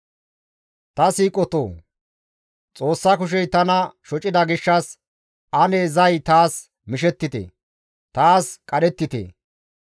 «Ta siiqotoo! Xoossa kushey tana shocida gishshas ane zay taas mishettite! Taas qadhettite!